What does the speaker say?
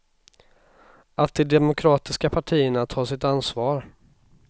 Att de demokratiska partierna tar sitt ansvar.